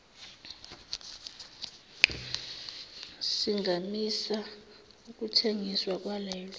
singamisa ukuthengiswa kwalelo